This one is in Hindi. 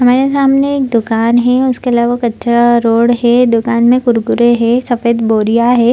हमारे सामने एक दुकान है उसके अलावा कचरा रोड है दुकान में कुरकुरे है सफेद बोरिया है।